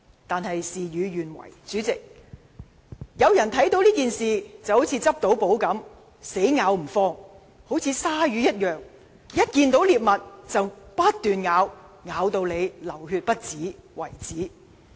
可惜，事與願違，有人把這件事當作是"執到寶"，死咬不放，如鯊魚一樣，看見獵物便不斷撕咬，定要咬到人流血不止。